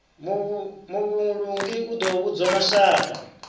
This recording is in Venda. muvhulungi u ḓo vhudza mashaka